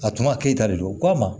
A tuma keta de don ko a ma